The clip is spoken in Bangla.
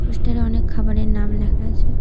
পোস্টারে অনেক খাবারের নাম লেখা আছে।